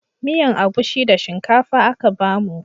Miyan agushi da shinkafa aka bamu